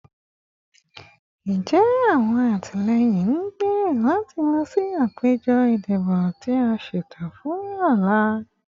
Njẹ awọn alatilẹyin n gbero lati lọ si apejọ idibo ti a ṣeto fun ọla?